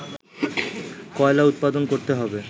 কয়লা উৎপাদন করতে হবে